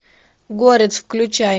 город включай